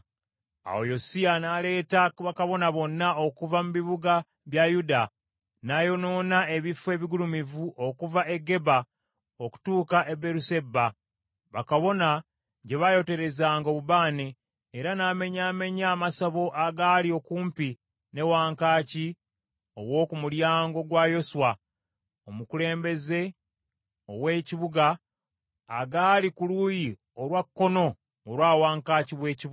Awo Yosiya n’aleeta bakabona bonna okuva mu bibuga bya Yuda, n’ayonoona ebifo ebigulumivu okuva e Geba okutuuka e Beeruseba, bakabona gye baayoterezanga obubaane, era n’amenyaamenya amasabo agaali okumpi ne wankaaki ow’oku Mulyango gwa Yoswa, omukulembeze ow’ekibuga, agaali ku luuyi olwa kkono olwa wankaaki ow’ekibuga.